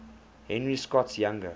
henry scott's younger